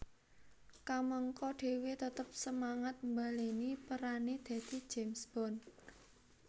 Kamangka dhewe tetep semangat mbaleni perane dadi James Bond